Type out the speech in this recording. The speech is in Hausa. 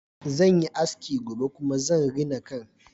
Zan yi aski gobe kuma zan rina kan